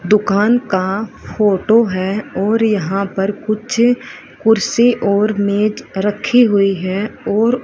दुकान का फोटो है और यहां पर कुछ कुर्सी और मैट रखी हुई है और--